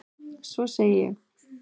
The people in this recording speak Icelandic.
Svo ég segi: